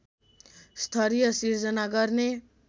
स्तरीय सिर्जना गर्ने